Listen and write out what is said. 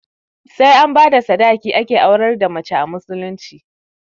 Sai an bada sadaki ake aurar da mace a musulunci